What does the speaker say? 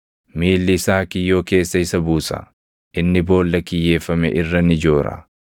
Miilli isaa kiyyoo keessa isa buusa; inni boolla kiyyeeffame irra ni joora.